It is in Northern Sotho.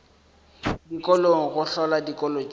dikolong go hlola dikolo tšeo